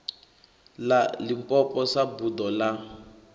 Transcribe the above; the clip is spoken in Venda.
ḽa limpopo sa buḓo ḽa